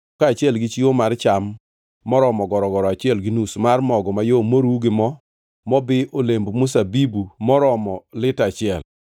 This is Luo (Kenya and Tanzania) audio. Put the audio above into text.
kaachiel gi chiwo mar cham moromo gorogoro achiel gi nus mar mogo mayom moruw gi mo mobi e olemb zeituni moromo lita achiel.